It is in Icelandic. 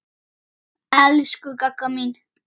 Elsku Gagga mín.